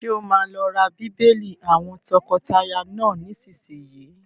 Ṣé o máa lọ ra bíbélì àwọn tọkọtaya náà nísìsiyìí?